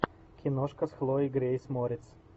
киношка с хлоей грейс морец